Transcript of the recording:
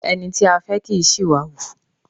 Ẹni tí a fẹ́ kì í ṣí ìwà hù.